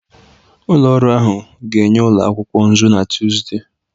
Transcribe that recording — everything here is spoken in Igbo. Ụlọ ọrụ ahụ ga-enye ụlọ akwụkwọ nzu na Tuzdee